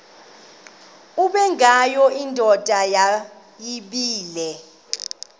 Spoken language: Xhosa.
ubengwayo indoda yayibile